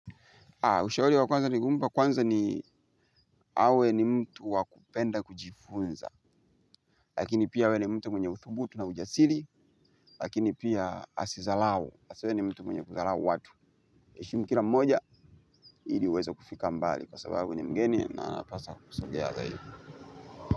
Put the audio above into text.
Ushauri wa kwanza ningempa kwanza ni awe ni mtu wa kupenda kujifunza. Lakini pia awe ni mtu mwenye uthubutu na ujasiri. Lakini pia asidharau. Asiwe ni mtu mwenye kudharau watu heshimu kila mmoja ili uweze kufika mbali. Kwa sababu ni mgeni na anapasa kusogea zaidi.